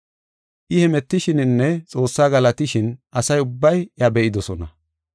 I hemetishininne Xoossa galatishin asa ubbay iya be7idosona.